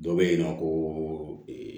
Dɔ bɛ yen nɔ ko